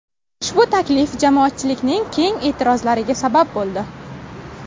Ushbu taklif jamoatchilikning keng e’tirozlariga sabab bo‘ldi.